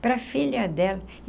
Para a filha dela.